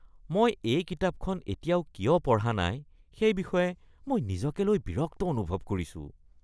মই এই কিতাপখন এতিয়াও কিয় পঢ়া নাই সেই বিষয়ে মই নিজকে লৈ বিৰক্ত অনুভৱ কৰিছোঁ।